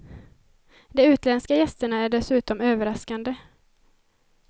De utländska gästerna är dessutom överraskande.